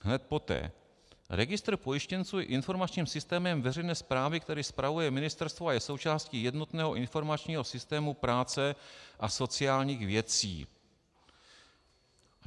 Hned poté: "Registr pojištěnců je informačním systémem veřejné správy, který spravuje ministerstvo a je součástí jednotného informačního systému práce a sociálních věcí."